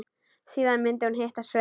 Síðan myndi hún hitta Svein.